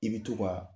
I bɛ to ka